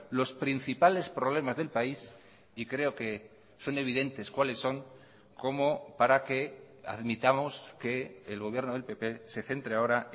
los principales problemas del país y creo que son evidentes cuáles son como para que admitamos que el gobierno del pp se centre ahora